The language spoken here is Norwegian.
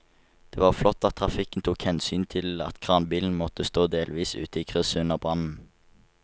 Det var flott at trafikken tok hensyn til at kranbilen måtte stå delvis ute i krysset under brannen.